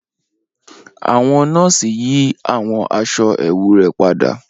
Awọn nọọsi yi awọn aṣọ ẹwu rẹ pada